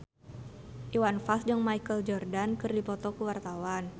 Iwan Fals jeung Michael Jordan keur dipoto ku wartawan